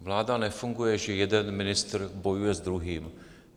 Vláda nefunguje, že jeden ministr bojuje s druhým.